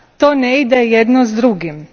To ne ide jedno s drugim.